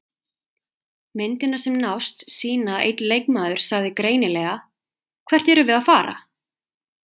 Myndirnar sem nást sýna að einn leikmaður sagði greinilega: Hvert erum við að fara?